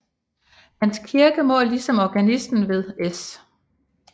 Hans kirke må ligesom organisten ved S